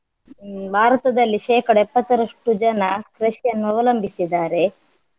ಹ್ಮ್ ಭಾರತದಲ್ಲಿ ಶೇಕಡ ಎಪ್ಪತ್ತರಷ್ಟು ಜನ ಕೃಷಿಯನ್ನು ಅವಲಂಬಿಸಿದ್ದಾರೆ.